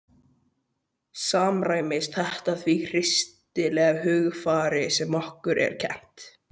Samræmist þetta því kristilega hugarfari sem okkur er kennt?